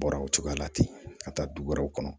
Bɔra o cogoya la ten ka taa du wɛrɛw kɔnɔ